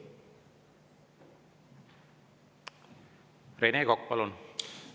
Rene Kokk, palun!